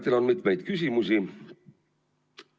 Meil on mitu küsimust.